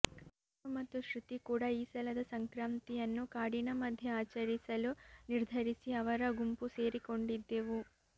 ನಾನು ಮತ್ತು ಶ್ರುತಿ ಕೂಡ ಈ ಸಲದ ಸಂಕ್ರಾಂತಿಯನ್ನು ಕಾಡಿನ ಮಧ್ಯ ಆಚರಿಸಲು ನಿರ್ಧರಿಸಿ ಅವರ ಗುಂಪು ಸೇರಿಕೊಂಡಿದ್ದೆವು